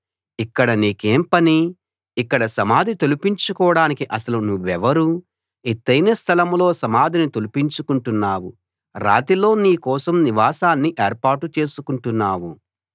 ఇక్కడ నీకేం పని ఇక్కడ సమాధి తొలిపించుకోడానికి అసలు నువ్వెవరు ఎత్తయిన స్థలంలో సమాధిని తొలిపించుకుంటున్నావు రాతిలో నీ కోసం నివాసాన్ని ఏర్పాటు చేసుకుంటున్నావు